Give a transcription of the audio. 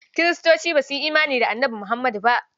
Kiristoci ba su yi imani da Annabi Muhammadu ba.